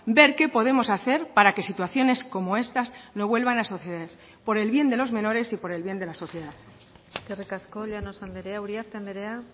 ver qué podemos hacer para que situaciones como estas no vuelvan a suceder por el bien de los menores y por el bien de la sociedad eskerrik asko llanos andrea uriarte andrea